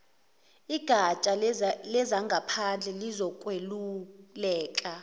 igatsha lezangaphandle lizokweluleka